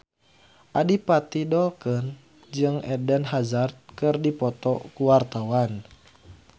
Adipati Dolken jeung Eden Hazard keur dipoto ku wartawan